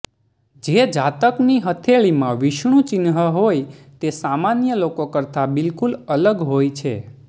જે જાતકની હથેળીમાં વિષ્ણુ ચિન્હ હોય તે સામાન્ય લોકો કરતા બિલકુલ અલગ હોય છે